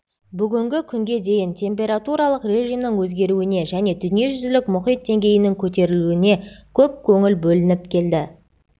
бүгінгі күнге дейін температуралық режимнің өзгеруіне және дүниежүзілік мұхит деңгейінің көтерілуіне көп көңіл бөлініп келді